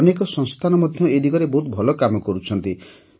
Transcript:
ଅନେକ ସଂସ୍ଥାନ ମଧ୍ୟ ଏ ଦିଗରେ ବହୁତ ଭଲ କାମ କରୁଛନ୍ତି